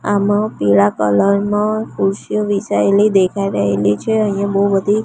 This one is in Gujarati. આમા પીડા કલર મા ખુરશીઓ વિછાઈલી દેખાઈ રહેલી છે અહિયા બહુ બધી--